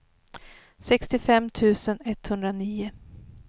sextiofem tusen etthundranio